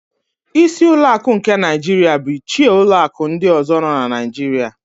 Ísí ụlọakụ nke Naịjiria bu ichie ụlọakụ ndị ọ̀zọ́ nọ na Naịjiria.